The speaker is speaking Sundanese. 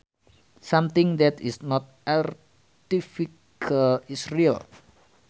Something that is not artificial is real